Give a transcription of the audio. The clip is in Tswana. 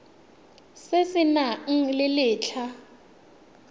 se se nang le letlha